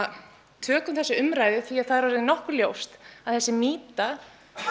tökum þessa umræðu því það er orðið nokkuð ljóst að þessi mýta